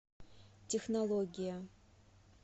технология